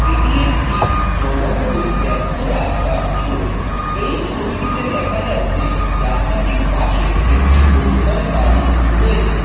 এটি একটি জনবহুল ব্যস্ত রাস্তার ছবি এই ছবিটিতে দেখা যাচ্ছে রাস্তাটির পাশে একটি বহুতল বাড়ি রয়েছে।